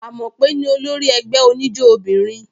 Amope ní olórí ẹgbẹ́ oníjó obìnrin.